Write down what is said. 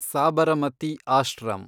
Sabarmati ashram